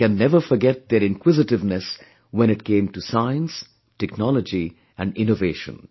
One can never forget their inquisitiveness when it came to Science, Technology and Innovation